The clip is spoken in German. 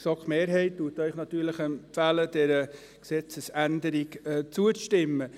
Die GSoK-Mehrheit empfiehlt Ihnen natürlich, dieser Gesetzesänderung zuzustimmen.